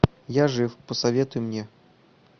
я жив посоветуй мне